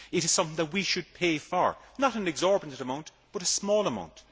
it is something that we should pay for not an exorbitant amount, but a small amount.